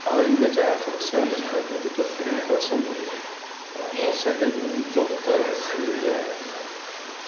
ал енді жаңағы қазақша нұсқалары неге жоқ дегенді қазақша енді і қазақша әндердің жоқтығының себебі